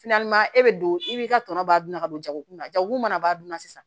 e bɛ don i b'i ka tɔnɔ b'a dun ka don jago kunna jago mana b'a dun na sisan